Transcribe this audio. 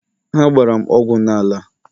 ha gbara m ogwu n'ala..